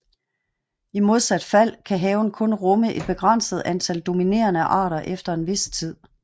I modsat fald kan haven kun rumme et begrænset antal dominerende arter efter en vis tid